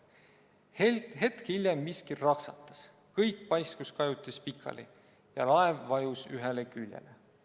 Hetk hiljem miski raksatas, kõik paiskus kajutis pikali ja laev vajus ühele küljele.